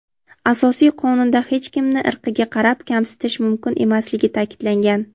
Asosiy Qonunda hech kimni irqiga qarab kamsitish mumkin emasligi ta’kidlangan (.).